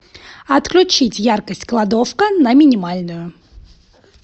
отключить яркость кладовка на минимальную